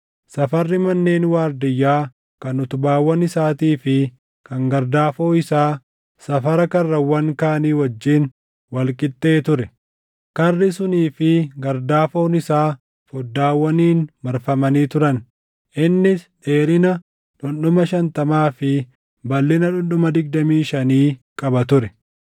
Safarri manneen waardiyyaa kan utubaawwan isaatii fi kan gardaafoo isaa safara karrawwan kaanii wajjin wal qixxee ture. Karri sunii fi gardaafoon isaa foddaawwaniin marfamanii turan. Innis dheerina dhundhuma shantamaa fi balʼina dhundhuma digdamii shanii qaba ture.